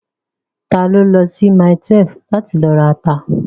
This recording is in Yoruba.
Ta ló lọ sí mile 12 láti lọ rata?